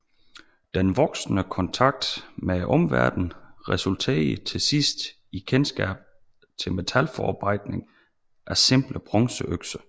Den voksende kontakt med omverdenen resulterede til sidst i kendskab til metalforarbejdning af simple bronzeøkser